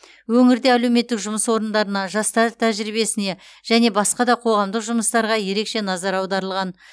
өңірде әлеуметтік жұмыс орындарына жастар тәжірибесіне және басқа да қоғамдық жұмыстарға ерекше назар аударылған